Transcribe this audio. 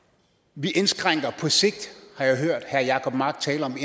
vi indskrænker på sigt har jeg hørt herre jacob mark tale om